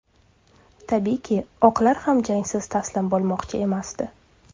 Tabiiyki, oqlar ham jangsiz taslim bo‘lmoqchi emasdi.